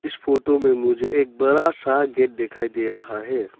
इस फोटो में मुझे एक बड़ा सा गेट दिखाई दे रहा है।